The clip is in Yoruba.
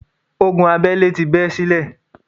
Ogun abẹ́lẹ́ ti bẹ́ sílẹ̀.